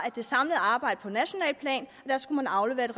det samlede arbejde på nationalt plan skulle afleveres